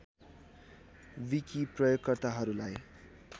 wiki प्रयोगकर्ताहरूलाई